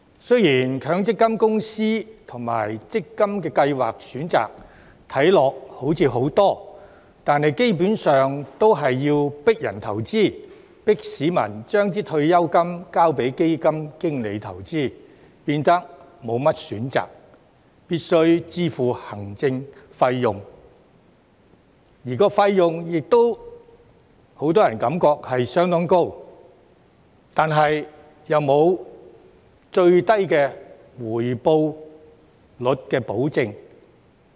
雖然強積金公司及強積金計劃的選擇看似很多，但基本上都是要迫人投資、迫市民將退休金交給基金經理投資，變得沒甚麼選擇，必須支付行政費用，而費用亦都讓很多人感覺相當高，但又沒有最低回報率的保證。